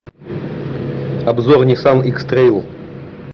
обзор ниссан икс трейл